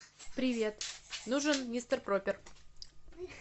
привет нужен мистер проппер